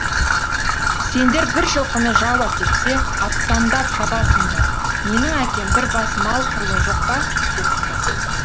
сендер бір жылқыны жау әкетсе аттандап шабасыңдар менің әкем бір бас мал құрлы жоқ па депті